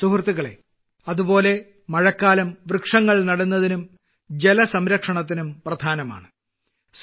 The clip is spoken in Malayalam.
സുഹൃത്തുക്കളേ അതുപോലെ മഴക്കാലം വൃക്ഷങ്ങൾ നടുന്നതിനും ജലസംരക്ഷണത്തിനും പ്രധാനമാണ്